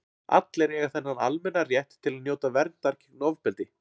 allir eiga þennan almenna rétt til að njóta verndar gegn ofbeldi